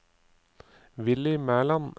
Willy Mæland